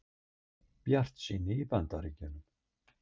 Bjartsýni í Bandaríkjunum